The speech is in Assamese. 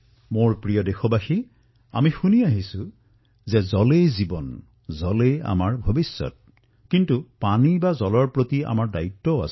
মোৰ মৰমৰ দেশবাসীসকল আমি প্ৰায়েই শুনা পাও যে পানী থাকিলেহে জীৱন থাকিব কিন্তু পানীৰ প্ৰতি আমাৰ দায়িত্বও আছে